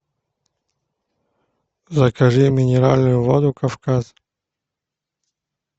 закажи минеральную воду кавказ